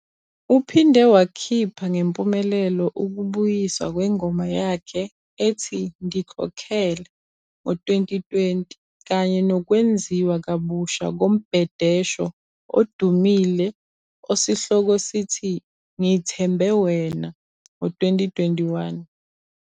Uphinde wakhipha ngempumelelo ukubuyiswa kwengoma yakhe ethi "Ndikokhele" ngo-2020 kanye nokwenziwa kabusha kombhedesho odumile osihloko sithi "Ngi thembe wena" ngo-2021.